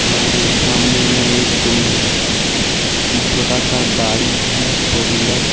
और सामने में एक उम छोटा सा गाड़ी है फोर व्हीलर --